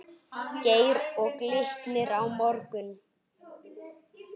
Geir Og Glitnir á morgun?